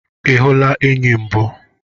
Ihula enyi mbụ?